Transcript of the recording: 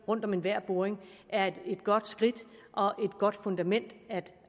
rundt om enhver boring er et godt skridt og et godt fundament at